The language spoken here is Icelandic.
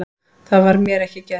Það var mér ekki gert